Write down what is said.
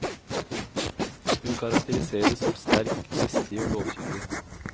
Hun karakteriseres som sterk, dristig og lovkyndig.